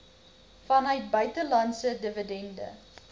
vanuit buitelandse dividende